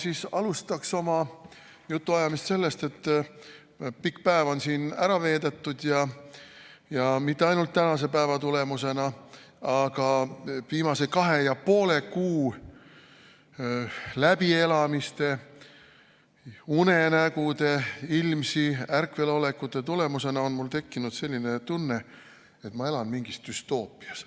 Ja ma alustaks oma jutuajamist sellest, et pikk päev on siin ära veedetud ja mitte ainult tänase päeva tulemusena, aga viimase kahe ja poole kuu läbielamiste, unenägude, ärkvelolekute tulemusena on mul tekkinud selline tunne, et ma elan mingis düstoopias.